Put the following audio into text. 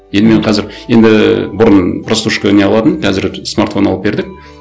енді мен қазір енді бұрын прослушка не қылатынмын қазір смартфон алып бердік